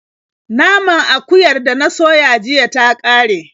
Naman akuyar da na soya jiya ta ƙare.